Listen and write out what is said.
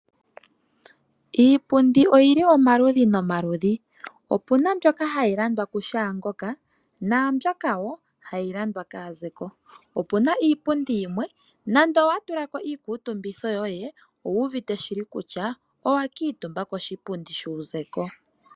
Iipundi oyi li omaludhi nomaludhi opu na mbyoka hayi landwa ku shaangoka naa mbyoka wo hayi landwa kaazeko. Opu na iipundi yimwe uuna wa tulako iikutumbitho yoye wu wete kutya owa kuutumba koshipundi shuuzeko.